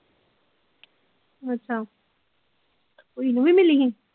ਅੱਛਾ ਇਹਨੂੰ ਵੀ ਮਿਲੀ ਸੀ।